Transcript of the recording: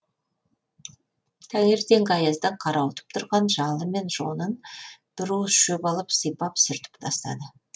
таңертеңгі аяздан қырауытып тұрған жалы мен жонын бір уыс шөп алып сипап сүртіп тастады